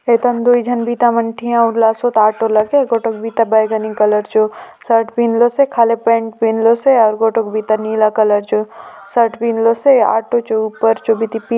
एठन दूई झन बिता माने ठिया होइला सोत ऑटो लागे गोठे बिता बैगनी कलर जो शर्ट पिन्धलोसे खाली पेंट पिन्धलोसे आऊ गोठे बिता नीला कलर जो सर्ट पिन्धलोसे ऑटो चो उपर जोबिति पि --